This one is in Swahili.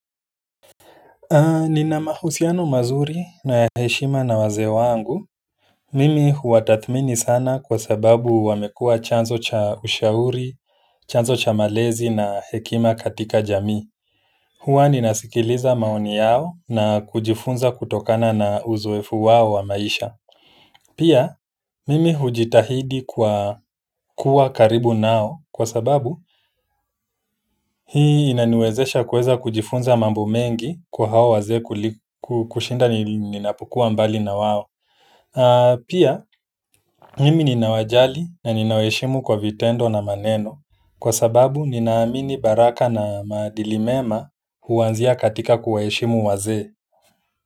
Ni na mahusiano mazuri na heshima na wazee wangu. Mimi huatathmini sana kwa sababu wamekuwa chanzo cha ushauri, chanzo cha malezi na hekima katika jamii. Huwa ni nasikiliza maoni yao na kujifunza kutokana na uzoefu wao wa maisha. Pia mm hujitahidi kwa kuwa karibu nao kwa sababu hii inaniwezesha kuweza kujifunza mambo mengi kwa hao wazee kushinda ninapokuwa mbali na wao. Pia, mimi ninawajali na ninawaheshimu kwa vitendo na maneno kwa sababu ninaamini baraka na maadili mema huanzia katika kuwaheshimu wazee.